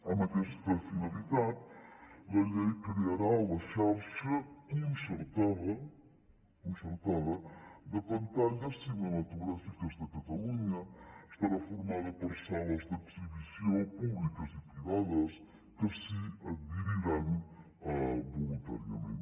amb aquesta finalitat la llei crearà la xarxa concertada concertada de pantalles cinematogràfiques de catalunya estarà formada per sales d’exhibició públiques i privades que s’hi adheriran voluntàriament